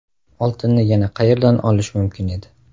Oltinni yana qayerdan olish mumkin edi?